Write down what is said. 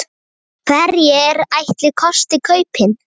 Hverjir ætli kosti kaupin?